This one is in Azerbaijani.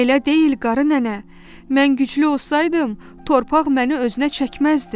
Elə deyil qarı nənə, mən güclü olsaydım, torpaq məni özünə çəkməzdi.